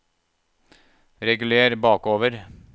reguler bakover